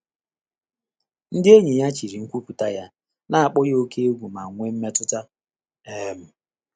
Ndị́ ényì yá chị́rị̀ nkwùpụ́tà yá, nà-ákpọ́ yá óké égwú mà nwèé mmétụ́tà. um